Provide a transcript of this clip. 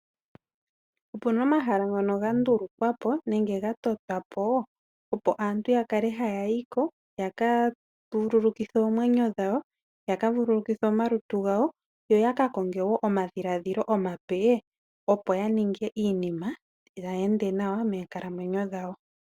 Opena omahala ngono gandulukwa po nenge gatotwa po opo aantu ya kale haya yi ko ya ka vululikithe oomwenyo dhawo, ya ka vululukithe omalutu gawo yo ya ka konge wo omadhiladhilo omape, opo ya ninge iinima tayi ende nawa moonkalamwenyo dhawo.